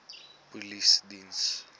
polisiediens